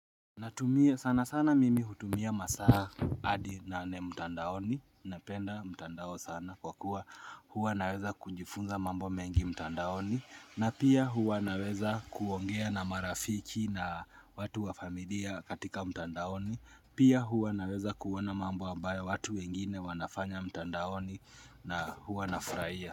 Natumia sana sana mimi hutumia masaa adi nane mtandaoni, napenda mtandao sana kwa kuwa huwa naweza kujifunza mambo mengi mtandaoni na pia huwa naweza kuongea na marafiki na watu wa familia katika mtandaoni Pia huwa naweza kuona mambo ambayo watu wengine wanafanya mtandaoni na huwa nafurahia.